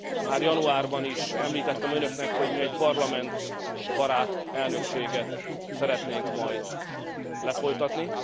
Már januárban is említettem önöknek, hogy mi egy parlamentbarát elnökséget szeretnénk majd lefolytatni.